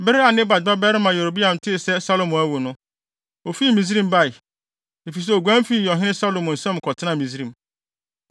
Bere a Nebat babarima Yeroboam tee sɛ Salomo awu no, ofi Misraim bae, efisɛ oguan fii ɔhene Salomo nsam kɔtenaa Misraim.